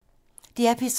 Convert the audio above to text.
DR P3